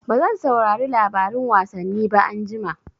Bazan saurari labarin wasanni ba anjima.